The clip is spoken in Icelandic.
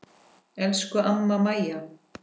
Elsku amma Mæja.